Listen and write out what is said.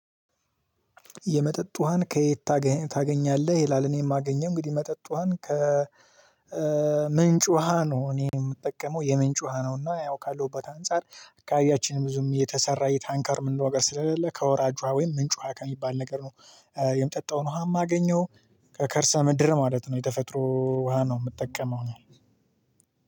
የመጠጥ ውሃን ከየት ታገኛለህ ይላል? እኔ የማገኘው እንግዲህ የመጠጥ ውሃን ከ ውሃ ነው እኔ የምጠቀመው የምንጭ ውሃ ነው። እና ያው ካለሁበት አንፃር አካባቢያችን ብዙም የተሰራ የታንከር ምንለው ነገር ስለሌለ ከወራጅ ውሃ ወይም ምንጭ ውሃ ከሚባል ነገር ነው የምጠጣውን ውሃም አገኜሁ። ከከርሰ ምድር ማለት ነው የተፈጥሮ ውሃ ነው የምጠቀመው እኔ።